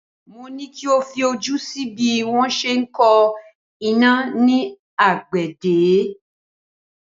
Mo ní kí o fi ojú sí bí wọ́n se ń ko iná ní àgbẹ̀dẹ